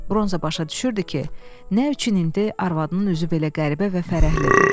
Bronza başa düşürdü ki, nə üçün indi arvadının üzü belə qəribə və fərəhlidir.